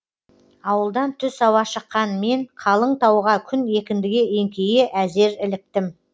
ауылдан түс ауа шыққан мен қалың тауға күн екіндіге еңкейе әзер іліктім